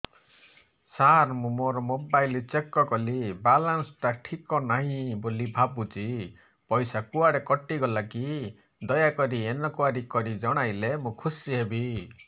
ସାର ମୁଁ ମୋର mobile check କଲି ବାଲାନ୍ସ ଟା ଠିକ ନାହିଁ ବୋଲି ଭାବୁଛି ପଇସା କୁଆଡେ କଟି ଗଲା କି ଦୟାକରି ଇନକ୍ୱାରି କରି ଜଣାଇଲେ ମୁଁ ଖୁସି ହେବି